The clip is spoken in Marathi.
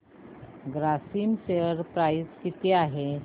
ग्रासिम शेअर प्राइस किती आहे